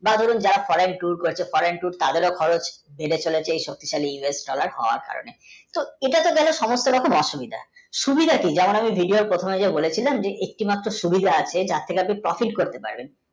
বা ধরুন যারা করছে তাদের ও খরচ বেড়ে চলেছে এই সব কিছু us dollar কারণে তো এটা তো গেলো সমস্তু রকম অসদুবিধা সুবিধা কি যেমন আমি video ওর প্রথমে যে বলেছিলাম, যে একটি মাত্র সুবিধা আছে তাঁর আপনি pofat করতে পারেন